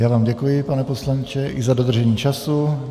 Já vám děkuji, pane poslanče, i za dodržení času.